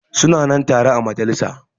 Su na nan tare a majalisa.